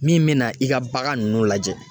Min mina i ka bagan nunnu lajɛ